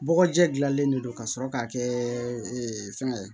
Bɔgɔjɛ gilannen don ka sɔrɔ k'a kɛ fɛngɛ